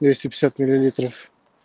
двести пятьдесят миллилитров